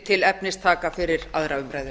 til efnistaka fyrir aðra umræðu